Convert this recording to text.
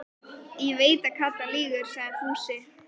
Ég veit að Kata lýgur, sagði Fúsi.